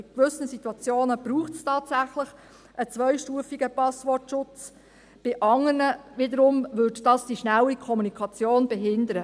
In gewissen Situationen braucht es tatsächlich einen zweistufigen Passwortschutz, in anderen wiederum würde das die schnelle Kommunikation behindern.